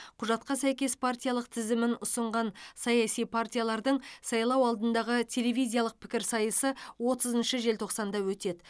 құжатқа сәйкес партиялық тізімін ұсынған саяси партиялардың сайлау алдындағы телевизиялық пікірсайысы отызыншы желтоқсанда өтеді